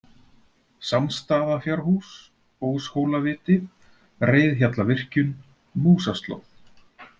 Sámsstaðafjárhús, Óshólaviti, Reiðhjallavirkjun, Músaslóð